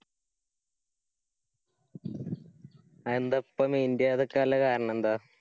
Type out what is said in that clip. അതെന്താ? ഇപ്പോ mind ചെയ്യാതിരിക്കാനുള്ള കാരണെന്താ?